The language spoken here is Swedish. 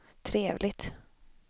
trevligt